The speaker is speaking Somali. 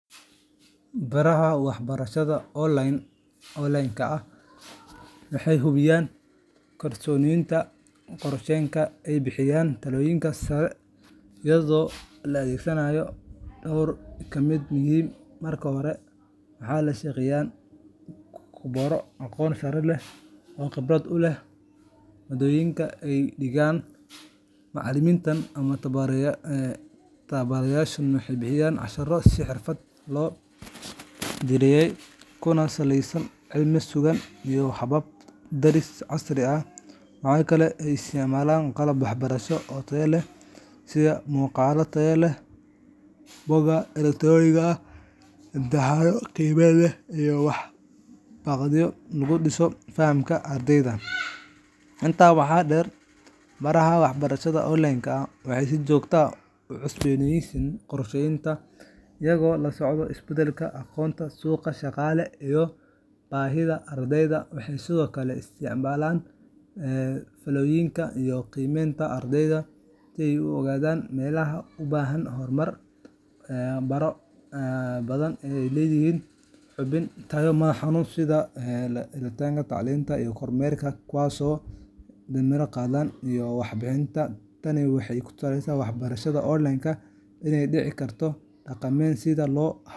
Baraha waxbarashada online-ka ah waxay hubiyaan in koorasyadooda koorsooyinka ay bixiyaan tayadoodu sareyso iyadoo la adeegsanayo dhowr hab oo muhiim ah. Marka hore, waxay la shaqeeyaan khuburo aqoon sare leh oo khibrad u leh maaddooyinka ay dhigayaan. Macallimiintan ama tababarayaashan waxay bixiyaan casharro si xirfadaysan loo diyaariyey, kuna saleysan cilmi sugan iyo habab baris casri ah. Waxa kale oo ay isticmaalaan qalab waxbarasho oo tayo leh sida muuqaallo tayo sare leh, buugag elektaroonig ah, imtixaano qiimeyn leh, iyo waxqabadyo lagu dhiso fahamka ardayda. Intaa waxaa dheer, baraha waxbarashada online-ka ah waxay si joogto ah u cusboonaysiiyaan koorsooyinka, iyagoo la socda isbeddelka aqoonta, suuqa shaqada, iyo baahiyaha ardayda. Waxay sidoo kale isticmaalaan faallooyinka iyo qiimeynta ardayda si ay u ogaadaan meelaha u baahan horumarin. Baro badan ayaa leh nidaamyo hubin tayo ah oo madax-bannaan, sida lataliyayaal tacliimeed iyo kormeerayaal, kuwaasoo damaanad qaada in waxyaabaha la barayo ay waafaqsan yihiin heerarka tacliinta iyo xirfadaha suuqyada shaqada. Tani waxay ku tusinaysaa in barashada online-ka aysan ka dhicin midda dhaqameed, haddii si wanaagsan loo habeeyo.